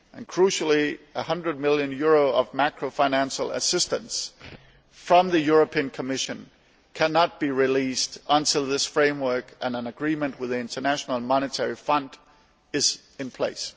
Crucially, EUR 100 million of macro financial assistance from the Commission cannot be released until this framework and an agreement with the International Monetary Fund are in place.